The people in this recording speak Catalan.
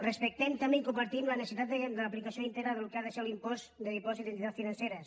respectem també i compartim la necessitat de l’apli·cació íntegra del que ha de ser l’impost de dipòsit en entitats financeres